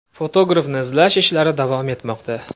Fotografni izlash ishlari davom etmoqda.